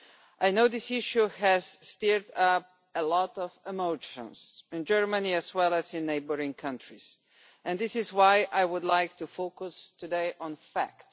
I know this issue has stirred up a lot of emotions, in Germany as well as in neighbouring countries, and this is why I would like to focus today on facts.